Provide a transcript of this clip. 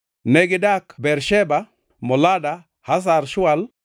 Negidak Bersheba, Molada, Hazar Shual,